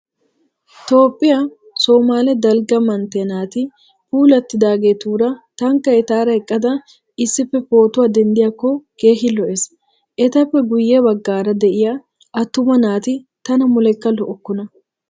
Toophphiyaa Somaale dalgga manntiyaa naati puulattidaageetuura tankka etaara eqqada issipee pootuwaa denddiyaakko keehi lo"ees. Etappe guye baggaara de'iyaa attuma naati tana muleekka lo'okkona.